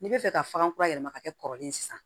N'i bɛ fɛ ka bagan kura yɛlɛma ka kɛ kɔrɔlen ye sisan